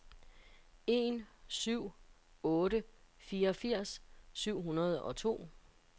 en syv en otte fireogfirs syv hundrede og to